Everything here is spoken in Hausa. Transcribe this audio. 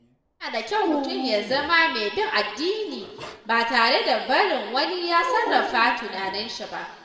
Yana da kyau mutum ya zama mai bin addini ba tare da barin wani ya sarrafa tunaninshi ba.